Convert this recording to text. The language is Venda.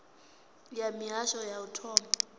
ya mihasho ya u thoma